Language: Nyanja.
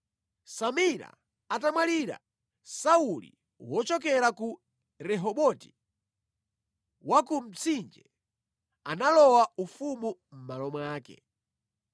Samila atamwalira, Sauli wochokera ku Rehoboti wa ku Mtsinje, analowa ufumu mʼmalo mwake.